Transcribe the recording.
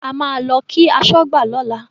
A máa lọ kí aṣọ́gbà lọ́la.